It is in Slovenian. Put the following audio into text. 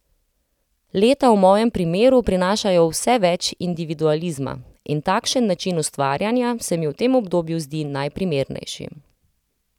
Leta v mojem primeru prinašajo vse več individualizma, in takšen način ustvarjanja se mi v tem obdobju zdi najprimernejši.